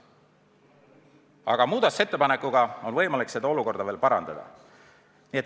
Aga muudatusettepanekuga on võimalik seda olukorda parandada.